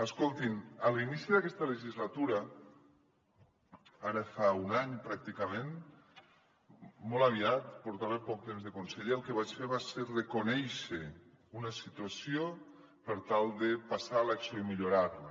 escoltin a l’inici d’aquesta legislatura ara fa un any pràcticament molt aviat portava poc temps de conseller el que vaig fer va ser reconèixer una situació per tal de passar a l’acció i millorar la